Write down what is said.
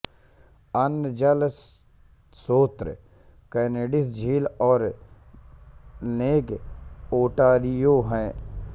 अन्य जल स्रोत कैनेडिस झील और लेक ओंटारियो हैं